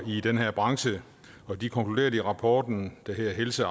i den her branche og de konkluderede i rapporten der hedder helse